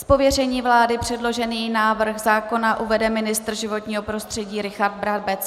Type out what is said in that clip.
Z pověření vlády předložený návrh zákona uvede ministr životního prostředí Richard Brabec.